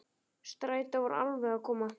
Strætó var alveg að koma.